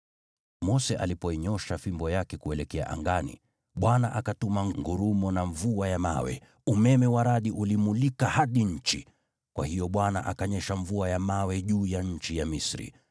Mose alipoinyoosha fimbo yake kuelekea angani, Bwana akatuma ngurumo na mvua ya mawe, umeme wa radi ulimulika hadi nchi. Kwa hiyo Bwana akaifanya mvua ya mawe kunyesha juu ya nchi ya Misri,